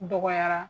Dɔgɔyara